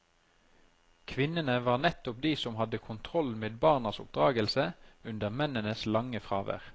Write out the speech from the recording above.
Kvinnene var nettopp de som hadde kontroll med barnas oppdragelse under mennenes lange fravær.